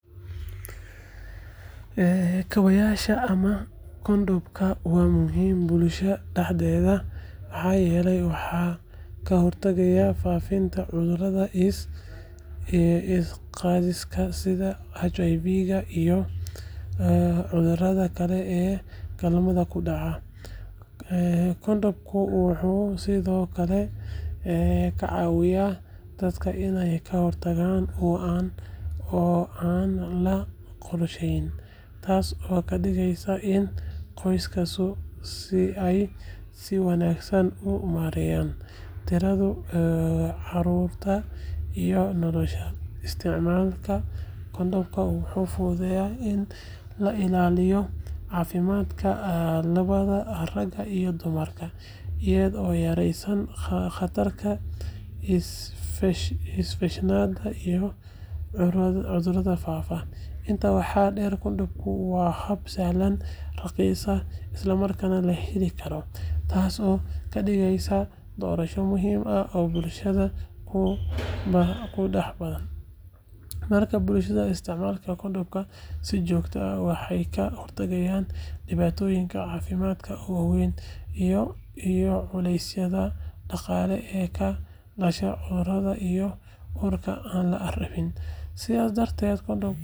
Kaabayaasha ama kondhomka waa muhiim bulshada dhexdeeda maxaa yeelay waxay ka hortagaan faafitaanka cudurrada la isqaadsiiyo sida HIV iyo cudurrada kale ee galmada ku dhaca. Kondhomka wuxuu sidoo kale ka caawiyaa dadka inay ka hortagaan uur aan la qorsheyn, taasoo ka dhigaysa in qoysaska ay si wanaagsan u maareeyaan tirada carruurta iyo noloshooda. Isticmaalka kondhomka wuxuu fududeeyaa in la ilaaliyo caafimaadka labadaba ragga iyo dumarka, iyadoo yareynaysa khatarta infekshannada iyo cudurrada faafa. Intaa waxaa dheer, kondhomku waa hab sahlan, raqiis ah, isla markaana la heli karo, taasoo ka dhigaysa doorasho muhiim ah oo bulshadu ku badbaado. Marka bulshada ay isticmaasho kondhomka si joogto ah, waxay ka hortagtaa dhibaatooyin caafimaad oo waaweyn iyo culaysyada dhaqaale ee ka dhasha cudurada iyo uurka aan la rabin.